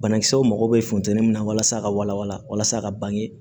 Banakisɛw mago bɛ funtɛni min na walasa ka walawala walasa ka bange